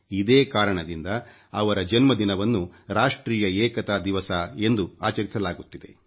ಇದೇ ಕಾರಣದಿಂದ ಅವರ ಜನ್ಮದಿನವನ್ನು ರಾಷ್ಟ್ರೀಯ ಏಕತಾ ದಿವಸ ಎಂದು ಆಚರಿಸಲಾಗುತ್ತಿದೆ